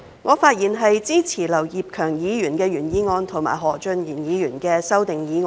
我會支持劉業強議員的議案及何俊賢議員的修正案。